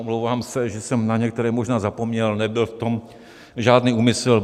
Omlouvám se, že jsem na některé možná zapomněl, nebyl v tom žádný úmysl.